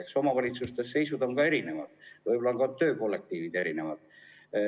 Eks omavalitsuste seisud on erinevad ja võib-olla on ka töökollektiivid erinevad.